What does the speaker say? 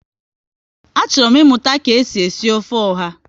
Achọrọ m ịmụta ka e si esi ofe ọha